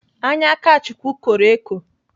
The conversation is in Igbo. Anya Akachukwu kọrọ eko.